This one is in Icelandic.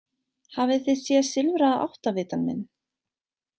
Hafið þið séð silfraða áttavitann minn?